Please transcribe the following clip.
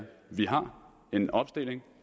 vi har en opstilling